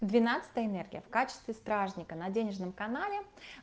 двенадцатая энергия в качестве стражника на денежном канале